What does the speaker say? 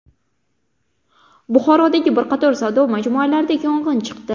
Buxorodagi bir qator savdo majmualarida yong‘in chiqdi .